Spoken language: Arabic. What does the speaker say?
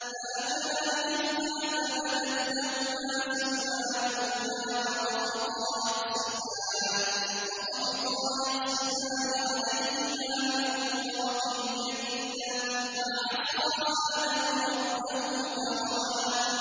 فَأَكَلَا مِنْهَا فَبَدَتْ لَهُمَا سَوْآتُهُمَا وَطَفِقَا يَخْصِفَانِ عَلَيْهِمَا مِن وَرَقِ الْجَنَّةِ ۚ وَعَصَىٰ آدَمُ رَبَّهُ فَغَوَىٰ